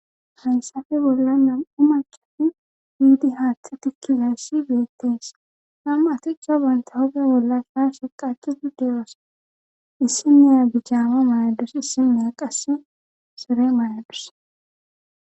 hansafe bolla nam7u macati biidi haaththi tikkigayssi beettees nam7aticha banta hoge bolla kaashe qachudu deyoosa issimeya bijaama mayaddus issinneya qassi sore mayaddus